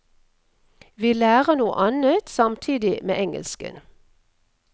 Vi lærer noe annet samtidig med engelsken.